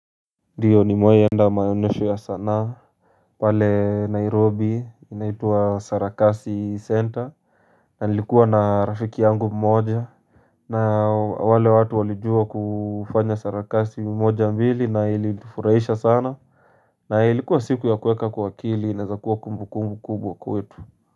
Ndiyo nimewahi enda maonyesho ya sanaa pale Nairobi inaitwa sarakasi center na nilikuwa na rafiki yangu mmoja na wale watu walijua kufanya sarakasi mmoja mbili na ilifurahisha sana na ilikuwa siku ya kuweka kwa kili inawezakuwa kumbu kumbu kumbu kubwa kwetu.